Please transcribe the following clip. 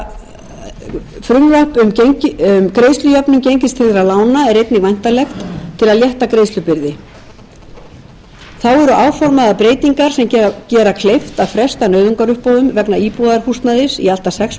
til að létta greiðslubyrði þó eru áformaðar breytingar sem gera kleift að fresta nauðungaruppboðum vegna íbúðarhúsnæði í allt að sex